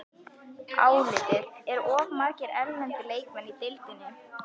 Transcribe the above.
Álitið: Eru of margir erlendir leikmenn í deildinni?